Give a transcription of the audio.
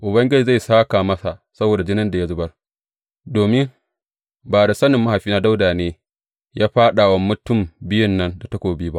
Ubangiji zai sāka masa saboda jinin da ya zubar, domin ba da sanin mahaifina Dawuda ne ya fāɗa wa mutum biyun nan da takobi ba.